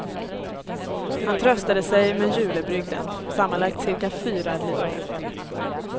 Han tröstade sig med julebrygden, sammanlagt cirka fyra liter.